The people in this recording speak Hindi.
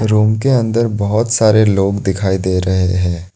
रूम के अंदर बहोत सारे लोग दिखाई दे रहे हैं।